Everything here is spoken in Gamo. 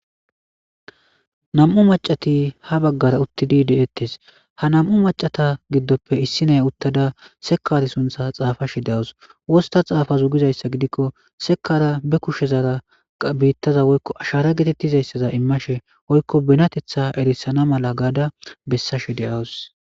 nam7u macati ha baggara uttidi deettes ha nam7u macata giddoppe issiney uttada sekari suntha xaafashe deawus wosta xaafazugizayssa gidikko sekara be kushe zara biittaza woykko ashara getettizayssaza immashe woykko benatetha erissana mala gaada bessashe de7awus